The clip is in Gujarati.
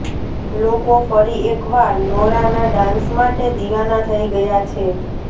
લોકો ફરી એકવાર નોરાના ડાન્સ માટે દિવાના થઈ ગયા છે